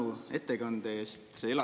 Suur tänu ettekande eest!